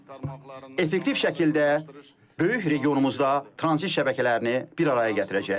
Və effektiv şəkildə böyük regionumuzda tranzit şəbəkələrini bir araya gətirəcək.